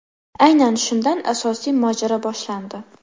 Aynan shundan asosiy mojaro boshlandi.